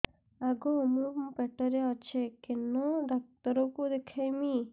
ଆଗୋ ମୁଁ ପେଟରେ ଅଛେ କେନ୍ ଡାକ୍ତର କୁ ଦେଖାମି